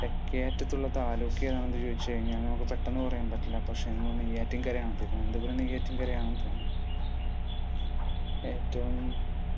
തെക്കേ അറ്റത്തുള്ള താലൂക്ക് ഏതാണെന്ന് ചോദിച്ചു കഴിഞ്ഞാൽ, നമുക്ക് പെട്ടെന്നു പറയാൻ പറ്റില്ല. പക്ഷെ നമ്മുടെ നെയ്യാറ്റിൻകരയാണ്. തിരുവനന്തപുരം നെയ്യാറ്റിൻകരയാണെന്ന് തോന്നുന്നു. ഏറ്റവും